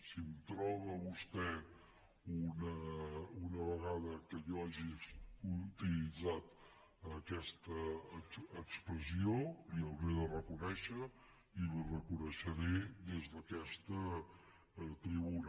si em troba vostè una vegada que jo hagi utilitzat aquesta expressió li ho hauré de reconèixer i li ho reconeixeré des d’aquesta tribuna